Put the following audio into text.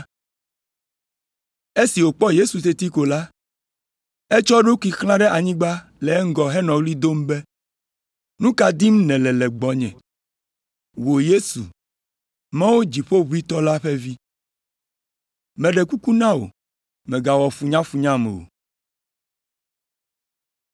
Esi wòkpɔ Yesu teti ko la, etsɔ eɖokui xlã ɖe anyigba le eŋgɔ henɔ ɣli dom be, “Nu ka dim nèle le gbɔnye, wò Yesu, Mawu Dziƒoʋĩtɔ la ƒe Vi. Meɖe kuku na wò, mègawɔ funyafunyam o!”